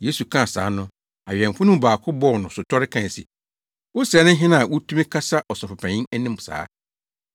Yesu kaa saa no, awɛmfo no mu baako bɔɔ no sotɔre kae se, “Wo sɛɛ ne hena a wutumi kasa ɔsɔfopanyin anim saa?”